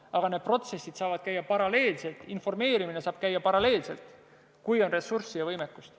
Aga need protsessid saavad käia paralleelselt, informeerimine saab toimuda paralleelselt, kui on ressurssi ja võimekust.